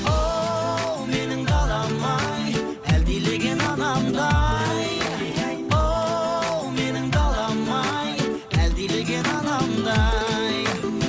оу менің далам ай әлдилеген анамдай оу менің далам ай әлдилеген анамдай